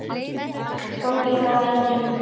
Gangið frá endum.